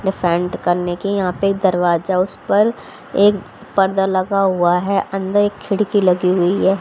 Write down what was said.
Defend करने की यहां पे एक दरवाजा उस पर एक पर्दा लगा हुआ है अंदर एक खिड़की लगी हुई है।